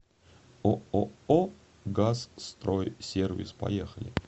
ооо газстройсервис поехали